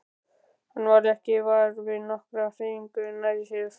Hann varð ekki var við nokkra hreyfingu nærri sér.